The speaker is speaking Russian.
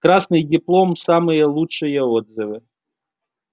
красный диплом самые лучшие отзывы